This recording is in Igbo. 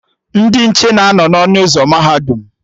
Ndị nche na anọ n'ọnụ ụzọ mahadum